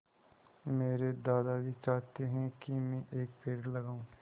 मेरे दादाजी चाहते हैँ की मै एक पेड़ लगाऊ